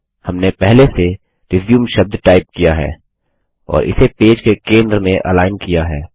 हमने पहले से रिज्यूम शब्द टाइप किया है और इसे पेज के केन्द्र में अलाइनएकरेखित किया है